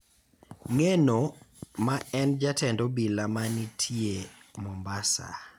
Ngeno, maen jatend obila ma nitie Mombasa,